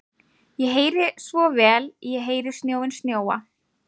Ég heyri svo vel, ég heyri snjóinn snjóa.